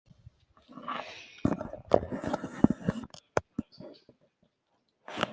Og heitt.